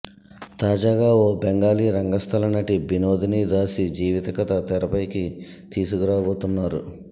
తాజాగా ఓ బెంగాళీ రంగస్థల నటి బినోదిని దాసి జీవిత కథ తెరపైకి తీసుకురాబోతున్నారు